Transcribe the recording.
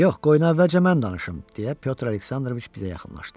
Yox, qoyun əvvəlcə mən danışım, deyə Pyotr Aleksandroviç bizə yaxınlaşdı.